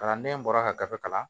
Kalanden bɔra ka gafe kalan